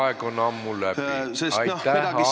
Aeg on ammu läbi!